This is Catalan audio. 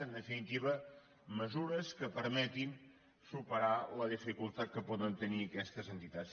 en definitiva mesures que permetin superar la dificultat que poden tenir aquestes entitats